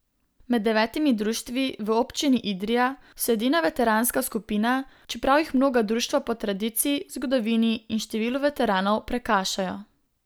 Med devetimi društvi v občini Idrija so edina veteranska skupina, čeprav jih mnoga društva po tradiciji, zgodovini in številu veteranov prekašajo.